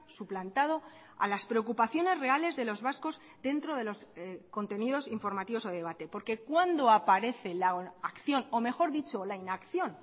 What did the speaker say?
suplantado a las preocupaciones reales de los vascos dentro de los contenidos informativos o debate porque cuándo aparece la acción o mejor dicho la inacción